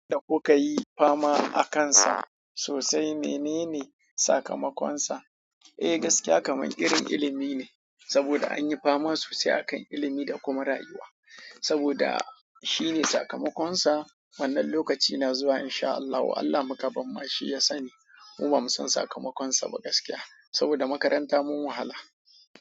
Da kuka yi fama akansa sosai menene sakamakon sa? Eh, gaskiya kam mu irin ilimi ne saboda anyi fama sosai a kan ilimi da kuma rayuwa saboda shine sakamakon sa wannan lokaci na zuwa in sha Allahu, Allah muka bar ma shi ya sani. Mun ba mu san sakamakon sa ba gaskiya saboda makaranta mun wahala.